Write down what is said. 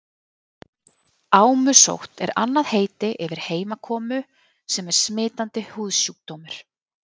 Ámusótt er annað heiti yfir heimakomu sem er smitandi húðsjúkdómur.